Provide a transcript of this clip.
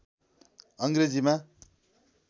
अङ्ग्रेजीमा